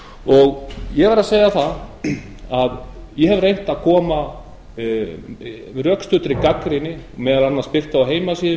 ég verð að segja að ég hef reynt að koma rökstuddri gagnrýni birti hana meðal annars á heimasíðu